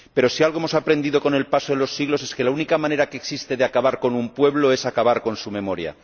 Pero si algo hemos aprendido con el paso de los siglos es que la única manera que existe de acabar con un pueblo es acabar con su memoria.